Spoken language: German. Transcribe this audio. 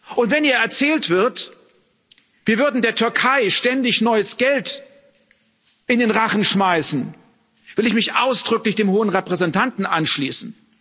Und wenn hier erzählt wird, wir würden der Türkei ständig neues Geld in den Rachen schmeißen, will ich mich ausdrücklich dem Hohen Vertreter anschließen.